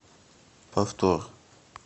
повтор